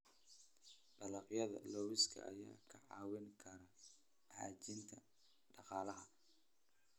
Dalagyada lawska ayaa kaa caawin kara xoojinta dhaqaalaha.